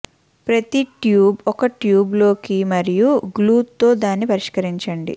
ప్రతి ట్యూబ్ ఒక ట్యూబ్ లోకి మరియు గ్లూ తో దాన్ని పరిష్కరించండి